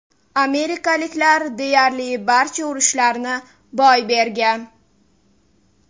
Amerikaliklar deyarli barcha urushlarni boy bergan.